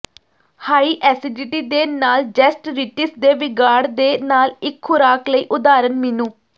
high acidity ਦੇ ਨਾਲ gastritis ਦੇ ਵਿਗਾੜ ਦੇ ਨਾਲ ਇੱਕ ਖੁਰਾਕ ਲਈ ਉਦਾਹਰਨ ਮੀਨੂ